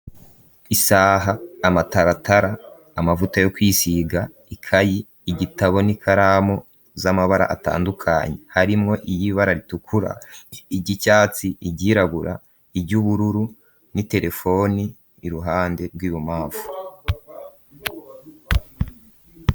Isaha, amataratara, amavuta yo kwisiga, ikayi, igitabo, n'ikaramu z'amabara atandukanye, harimwo iry'ibara ritukura, iry'icatsi, iryirabura, iry'ubururu, n'iterefoni i ruhande rw'ibubamfu.